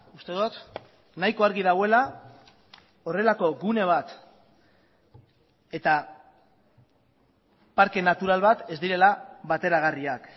uste dut nahiko argi dagoela horrelako gune bat eta parke natural bat ez direla bateragarriak